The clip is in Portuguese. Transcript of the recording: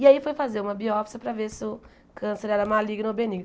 E aí foi fazer uma biópsia para ver se o câncer era maligno ou benigno.